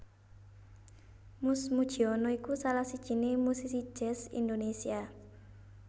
Mus Mujiono iku salah sijiné musisi jazz Indonésia